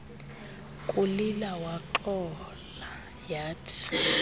kulila waxola yathi